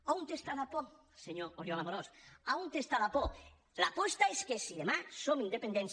on està la por senyor oriol amorós on està la por la por és que si demà som independents